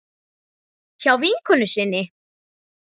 Hjá vinkonu sinni?